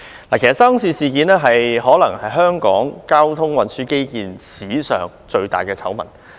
其實沙中線事件可能是香港交通運輸基建發展史上最大的醜聞。